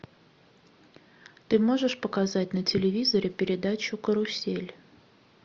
ты можешь показать на телевизоре передачу карусель